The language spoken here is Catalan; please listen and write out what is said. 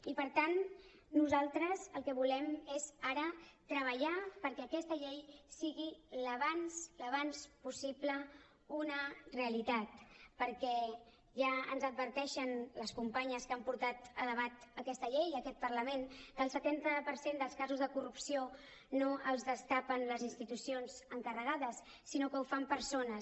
i per tant nosaltres el que volem és ara treballar perquè aquesta llei sigui al més aviat possible una realitat perquè ja ens adverteixen les companyes que han portat a debat aquesta llei a aquest parlament que el setanta per cent dels casos de corrupció no els destapen les institucions encarregades sinó que ho fan persones